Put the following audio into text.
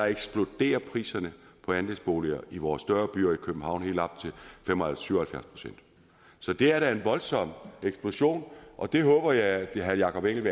eksploderer priserne på andelsboliger i vores større byer og i københavn helt op til syv og halvfjerds procent så det er da en voldsom eksplosion og jeg håber at herre jakob engel